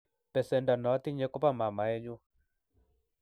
besendo notinye ko bo mamae nyu.